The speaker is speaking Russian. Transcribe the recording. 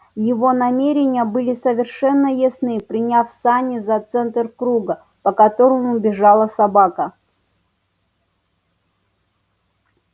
его намерения были совершенно ясны приняв сани за центр круга по которому бежала собака